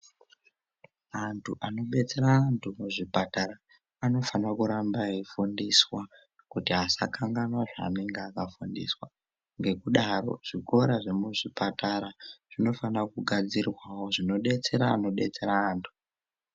Antu anobetsera antu muzvipatara anofanirwa kuramba eifundiswa kuti asakanganwa zvaanenge akafundiswa ngekudaro zvikora zvemuzvipatara zvinofanikwa kugadzirwawo zvinodetsera ankdetsera antu.